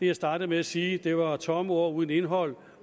jeg startede med at sige det var tomme ord uden indhold